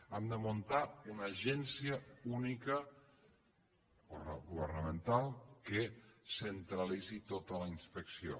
hem de muntar una agència única governamental que centralitzi tota la inspecció